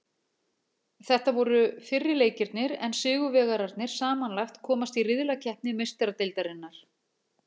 Þetta voru fyrri leikirnir en sigurvegararnir samanlagt komast í riðlakeppni Meistaradeildarinnar.